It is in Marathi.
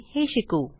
हे शिकू